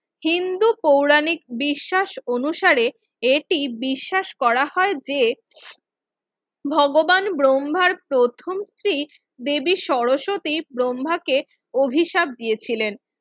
হিন্দু পৌরাণিক বিশ্বাস অনুসারে এটি বিশ্বাস করা হয় যে ভগবান ব্রহ্মার প্রথম স্ত্রী দেবী সরস্বতী ব্রহ্মাকে অভিশাপ দিয়েছিলেন